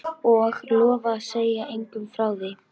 Og lofa að segja engum frá því?